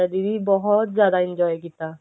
ਦੀਦੀ ਬਹੁਤ ਜਿਆਦਾ enjoy ਕੀਤਾ